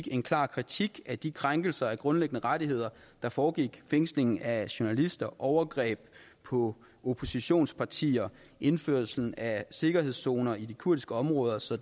en klar kritik af de krænkelser af grundlæggende rettigheder der foregik fængsling af journalister overgreb på oppositionspartier og indførelse af sikkerhedszoner i de kurdiske områder så